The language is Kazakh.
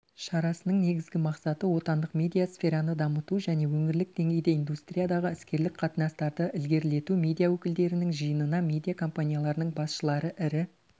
шарасының негізгі мақсаты отандық медиа сфераны дамыту және өңірлік деңгейде индустриядағы іскерлік қатынастарды ілгерілету медиа өкілдерінің жиынына медиа компанияларының басшылары ірі